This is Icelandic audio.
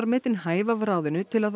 metin hæf af ráðinu til að